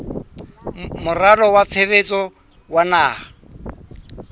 moralo wa tshebetso wa naha